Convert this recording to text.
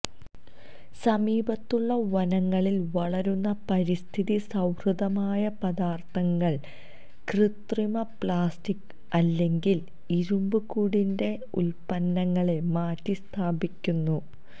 സമീപത്തുള്ള വനങ്ങളിൽ വളരുന്ന പരിസ്ഥിതി സൌഹൃദമായ പദാർത്ഥങ്ങൾ കൃത്രിമ പ്ലാസ്റ്റിക് അല്ലെങ്കിൽ ഇരുമ്പ് കുടിന്റെ ഉത്പന്നങ്ങളെ മാറ്റിസ്ഥാപിക്കുന്നു